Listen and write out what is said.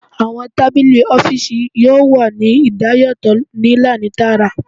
Awọn tabili ọfiisi yoo wa ni idayatọ ni laini taara